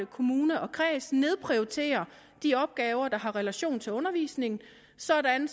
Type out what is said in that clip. kommune og kreds nedprioritere de opgaver der har relation til undervisningen sådan